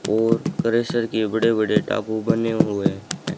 और क्रशर के बड़े बड़े ड़ाकू बने हुए है।